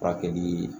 Furakɛli